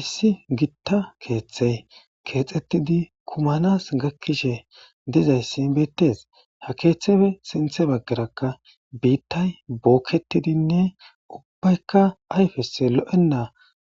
issi gitta keeththey keexxettidi kumanas gakkishe dizayssi beittes ha keeththefe sinthe baggarakka biittay bookketidinne ubbaykka ayfes lo7enna